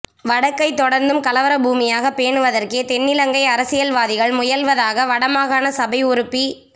வடக்கை தொடர்ந்தும் கலவர பூமியாக பேணுவதற்கே தென்னிலங்கை அரசியல்வாதிகள் முயல்வதாக வட மாகாண சபை உறுப்பி